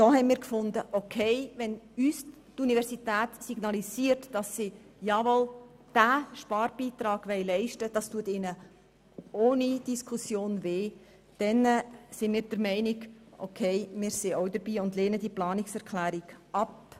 Wir haben uns gesagt, wenn uns die Universität signalisiere, dass sie diesen Sparbeitrag leisten wolle, würden wir diese Sparmassnahme unterstützen und diese Planungserklärung ablehnen.